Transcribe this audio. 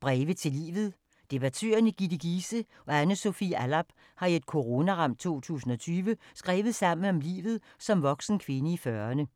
Breve til livet Debattørerne Ditte Giese og Anne Sofie Allarp har i et coronaramt 2020 skrevet sammen om livet som voksen kvinde i 40'erne.